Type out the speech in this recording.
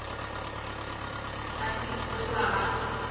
ka se ke wa ba